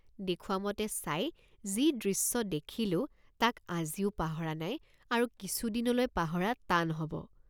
দেখুৱামতে চাই যি দৃশ্য দেখিলোঁ তাক আজিও পাহৰা নাই আৰু কিছুদিনলৈ পাহৰা টান হব।